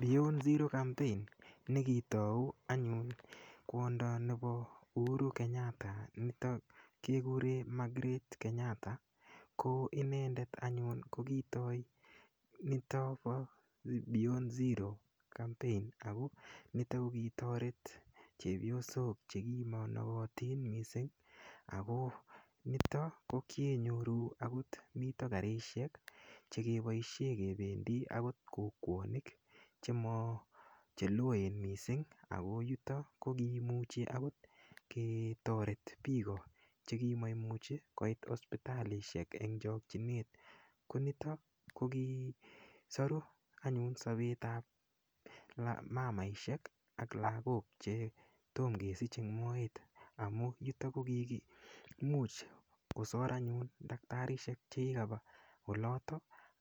Beyond zero campaign nekitou anyun kwondo nepo Uhuru Kenyatta nito kekure Margret Kenyatta koinendet anyun kokitoi nito po beyond zero campaign ako nito kikitoret chepyosok chekimonokotin mising ako nito kokeinyoru mito akot karishek chekeboishe kependi akot kokwonik cheloen mising Ako yuto kokimuchi ketoret piko chekimaimuchi koit akot hospitalishek eng chokchinet konotok kokisoru anyun sopet ap mamaishek ak lakok chetomokesich eng moet amu yuto kokiki much kosor anyun daktarisiek chekikapa oloto